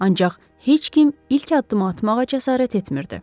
Ancaq heç kim ilk addımı atmağa cəsarət etmirdi.